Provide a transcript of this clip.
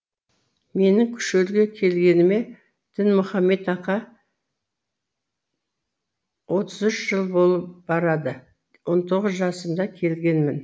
менің шөлге келгеніме дінмұхамед ака отыз үш жыл болып барады он тоғыз жасымда келгенмін